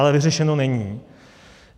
Ale vyřešeno není.